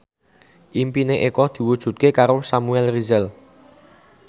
impine Eko diwujudke karo Samuel Rizal